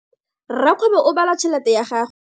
Rakgwebo o bala tšhelete ya gagwe.